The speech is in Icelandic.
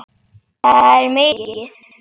Það er mikið.